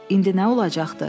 İndi nə olacaqdı?